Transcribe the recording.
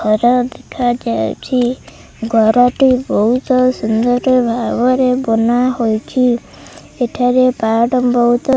ଘର ଦେଖାଯାଉଛି ଘରଟି ବୋହୁତ ସୁନ୍ଦର ଭାବରେ ବନାହୋଇଛି ଏଠାରେ ପାର୍ଟ ବୋହୁତ --